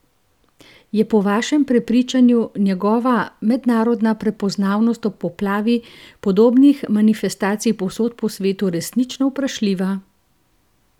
Je po vašem prepričanju njegova mednarodna prepoznavnost ob poplavi podobnih manifestacij povsod po svetu resnično vprašljiva?